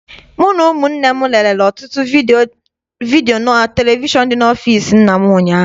Mụ na ụmụnne m lerere ọtụtụ vidiyo na televishọn dị n'ọfịịsi nna m ụnyaahụ.